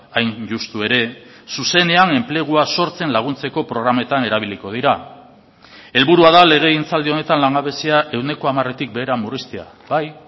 hain justu ere zuzenean enplegua sortzen laguntzeko programetan erabiliko dira helburua da legegintzaldi honetan langabezia ehuneko hamaretik behera murriztea bai